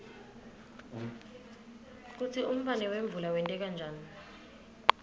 kutsi umbane wemvula wenteka njani